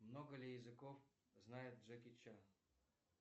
много ли языков знает джеки чан